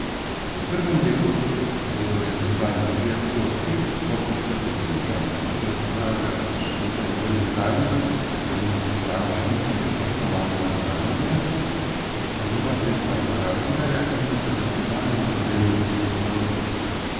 V prvem delu bodo letos zanj trije dogodki, hokejska akademija, ki jo pripravlja skupaj z nekdanjim reprezentančnim kolegom Tomažem Razingarjem, poslovilna tekma Razingarja in tradicionalni dobrodelni turnir v golfu.